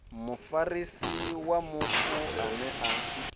mufarisi wa mufu ane a